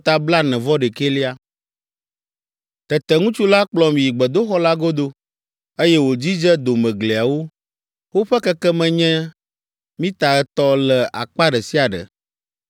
Tete ŋutsu la kplɔm yi gbedoxɔ la godo, eye wòdzidze domegliawo; woƒe kekeme nye mita etɔ̃ le akpa ɖe sia ɖe.